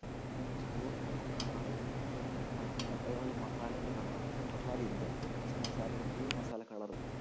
ചോറിൻ്റെ color ഉ തന്നെ ഒരു മഞ്ഞ ഒരു മസാലേൻ്റെ color ആവും പക്ഷെ മസാല ഇല്ല പക്ഷെ മസാല full മസാല color ഉ